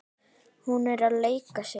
Hún er að leika sér.